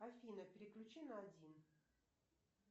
афина переключи на один